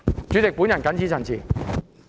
主席，我謹此陳辭。